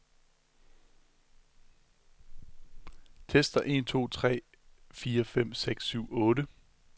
Tester en to tre fire fem seks syv otte.